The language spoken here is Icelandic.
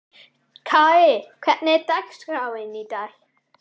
Kai, hvernig er dagskráin í dag?